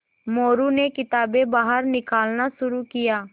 मोरू ने किताबें बाहर निकालना शुरू किया